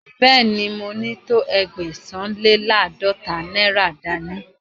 Bẹ́ẹ̀ni, mo ní tó Ẹgbẹ̀sán-le-láàdọ́ta náírà dání.